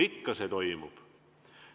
Ikka toimub.